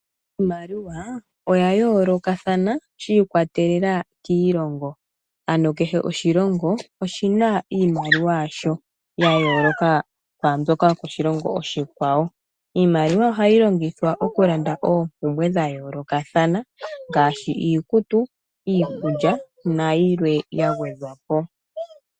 Iimaliwa oya yoolokathana shiikwatelela kiilongo. Ano kehe oshilongo oshina iimaliwa yasho ya yooloka kwaambyoka yokoshilongo oshikwawo. Iimaliwa ohayi longithwa oku landa oompumbwe dha yoolokathana ngaashi iikutu, iikulya nayilwe ya gwedhwa po.